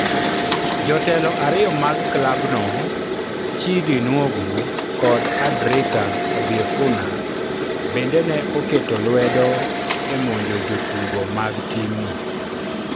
Jotelo ariyo mag klabno, Chidi Nwogu kod Adrika Obiefuna, bende ne oketo lwedo e monjo jotugo mag timno.